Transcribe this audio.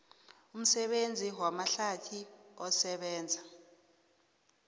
umsebenzi wamahlathi osebenza